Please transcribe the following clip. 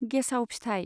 गेसाउ फिथाइ